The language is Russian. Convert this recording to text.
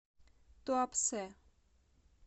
туапсе